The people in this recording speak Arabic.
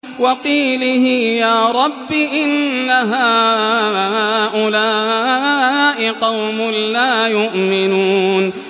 وَقِيلِهِ يَا رَبِّ إِنَّ هَٰؤُلَاءِ قَوْمٌ لَّا يُؤْمِنُونَ